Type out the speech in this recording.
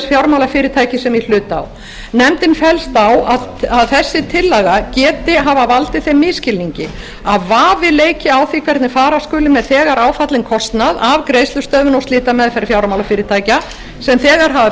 fjármálafyrirtækis sem í hlut á nefndin fellst á að þessi tillaga geti hafa valdið þeim misskilningi að vafi leiki á því hvernig fara skuli með þegar áfallinn kostnað af greiðslustöðvun og slitameðferð fjármálafyrirtækja sem þegar hafa